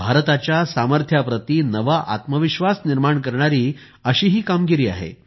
भारताच्या सामर्थ्याप्रती नवा आत्मविश्वास निर्माण करणारी अशी ही कामगिरी आहे